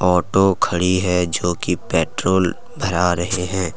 Auto खड़ी है जो की पेट्रोल भरा रहे हैं।